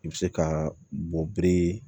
I bɛ se ka bɔ biri